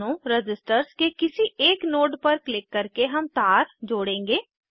दोनों रज़िस्टर्स के किसी एक नोड पर क्लिक करके हम तार जोड़ेंगे